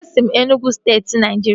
E si m Enugwu steeti Naijiria